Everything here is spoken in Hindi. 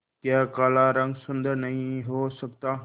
क्या काला रंग सुंदर नहीं हो सकता